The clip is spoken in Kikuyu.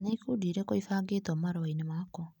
Nĩ ĩkundi irĩkũ ibangĩtwo marũa-inĩ makwa?